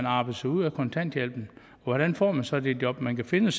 arbejde sig ud af kontanthjælpen hvordan får man så det job man kan finde